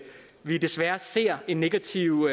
vi desværre ser en negativ